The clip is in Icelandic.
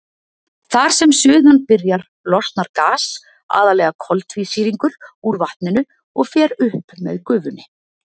Þar sem suðan byrjar losnar gas, aðallega koltvísýringur, úr vatninu og fer upp með gufunni.